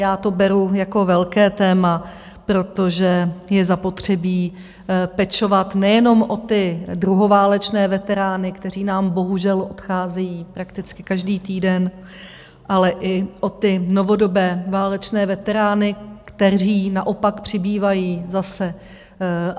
Já to beru jako velké téma, protože je zapotřebí pečovat nejenom o ty druhoválečné veterány, kteří nám bohužel odcházejí prakticky každý týden, ale i o ty novodobé válečné veterány, kteří naopak přibývají zase.